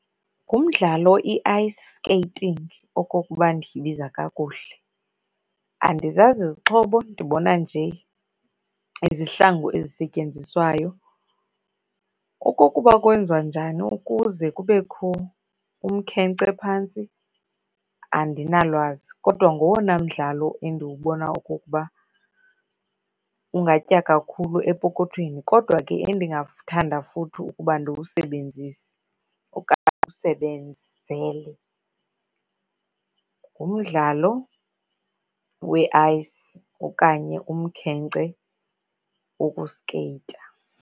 Ngumdlalo i-ice skating okokuba ndiyibiza kakuhle. Andizazi izixhobo, ndibona nje izihlangu ezisetyenziswayo. Okokuba kwenziwa njani ukuze kubekho umkhenkce phantsi, andinalwazi kodwa ngowona mdlalo endiwubona okokuba ungatya kakhulu epokothweni. Kodwa ke endingakuthanda futhi ukuba ndiwusebenzise okanye ndiwusebenzele, ngumdlalo we-ice okanye umkhenkce wokuskeyita.